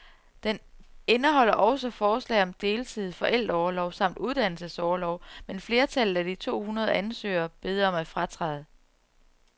Den indeholder også forslag om deltid, forældreorlov samt uddannelsesorlov, men flertallet af de to hundrede ansøgere beder om at fratræde.